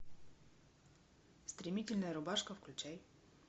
стремительная рубашка включай